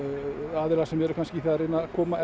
aðilar sem eru að reyna að koma